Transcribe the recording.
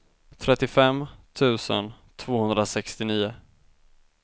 trettiofem tusen tvåhundrasextionio